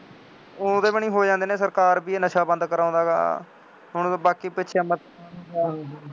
ਉਹ ਉਹਦੇ ਵੱਲੀਂ ਹੋ ਜਾਂਦੇ ਨੇ ਸਰਕਾਰ ਬਈ ਇਹ ਨਸ਼ਾ ਬੰਦ ਕਰਾਉਂਦਾ ਹੈਗਾ, ਹੁਣ ਉਹ ਬਾਕੀ ਦਾ